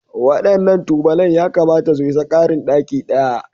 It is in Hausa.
Waɗannan tubalan yakamata su isa ƙarin ɗaki ɗaya